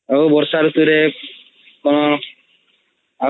ବର୍ଷା ରୁତୁ ରେ କଣ ଆଉ କିଚି କୁହ